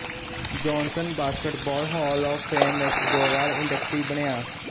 Johnson basketball hall of fame ਵਿਚ ਦੋ ਵਾਰ ਇੰਡਕਟੀ ਬਣਿਆ